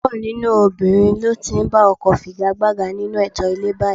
Púpọ̀ nínú obìnrin ló ti ń ba ọkọ figagbága nínú ètò ilé báyìí